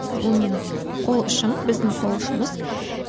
бұл менің қол ұшым біздің қол ұшымыз